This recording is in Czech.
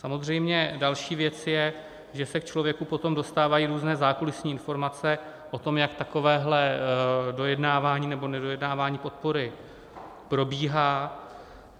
Samozřejmě další věc je, že se k člověku potom dostávají různé zákulisní informace o tom, jak takovéhle dojednávání nebo nedojednávání podpory probíhá.